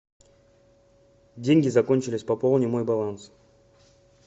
деньги закончились пополни мой баланс